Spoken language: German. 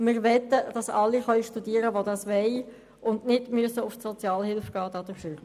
Wir möchten, dass alle studieren können, die das wollen, ohne auf Sozialhilfe angewiesen zu sein.